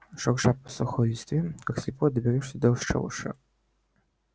шурша по сухой листве как слепой доберёшься до шалаша